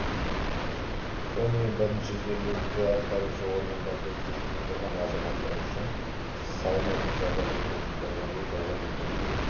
сонымен біріншісі жергілікті атқарушы органдарда кезекте тұрған азаматтар үшін салынатын жалға берілетін тұрғын үй тұрғын үйді